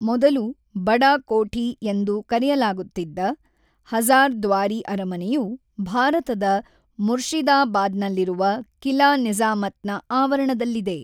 ಮೊದಲು ʼಬಡಾ ಕೋಠಿʼ ಎಂದು ಕರೆಯಲಾಗುತ್ತಿದ್ದ, ಹಜ಼ಾರ್‌ದ್ವಾರಿ ಅರಮನೆಯು ಭಾರತದ ಮುರ್ಷಿದಾಬಾದ್‌ನಲ್ಲಿರುವ ಕಿಲಾ ನಿಜ಼ಾಮತ್‌ನ ಆವರಣದಲ್ಲಿದೆ.